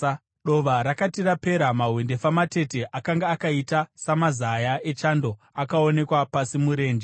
Dova rakati rapera, mahwendefa matete akanga akaita samazaya echando akaonekwa pasi murenje.